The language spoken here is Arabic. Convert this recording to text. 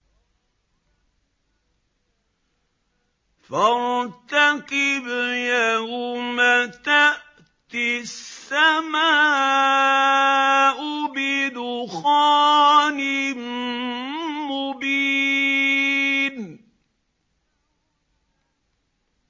فَارْتَقِبْ يَوْمَ تَأْتِي السَّمَاءُ بِدُخَانٍ مُّبِينٍ